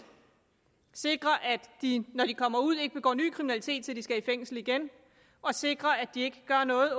sikre at de når de kommer ud ikke begår ny kriminalitet så de skal i fængsel igen og sikre at de ikke gør noget